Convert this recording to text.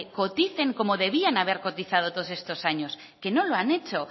coticen como debieran haber cotizado todos estos años no lo han hecho